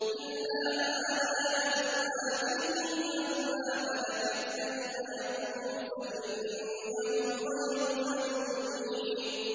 إِلَّا عَلَىٰ أَزْوَاجِهِمْ أَوْ مَا مَلَكَتْ أَيْمَانُهُمْ فَإِنَّهُمْ غَيْرُ مَلُومِينَ